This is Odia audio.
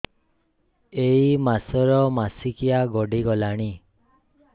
ଏଇ ମାସ ର ମାସିକିଆ ଗଡି ଗଲାଣି